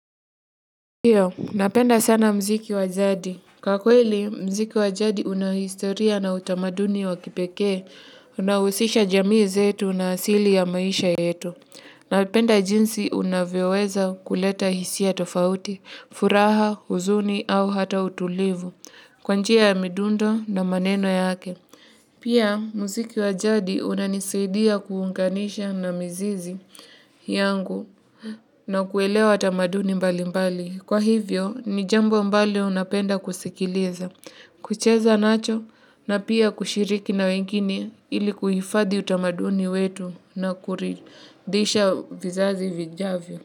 Ndio, napenda sana mziki wa jadi. Kwa kweli, mziki wajadi una historia na utamaduni wa kipekee, unaohusisha jamii zetu na asili ya maisha yetu. Napenda jinsi unavyoweza kuleta hisia tofauti, furaha, huzuni au hata utulivu, kwa njia ya midundo na maneno yake. Pia mziki wa jadi unanisaidia kuunganisha na mizizi yangu na kuelewa tamaduni mbali mbali kwa hivyo, ni jambo ambalo napenda kusikiliza, kucheza nacho na pia kushiriki na wengine ili kuhifadhi utamaduni wetu na kuridhisha vizazi vijavyo.